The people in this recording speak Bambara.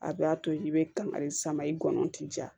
A b'a to i bɛ kari sama i gɔnɔn ti ja